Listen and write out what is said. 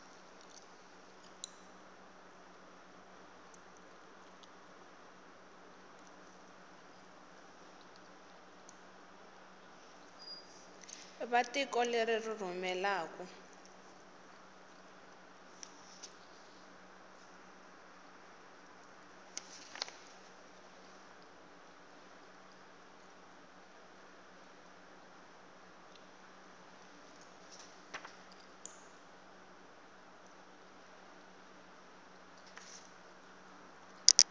va tiko leri ri rhumelaku